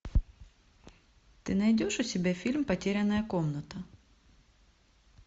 ты найдешь у себя фильм потерянная комната